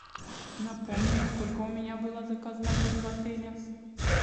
напомни на сколько у меня была заказана бронь в отеле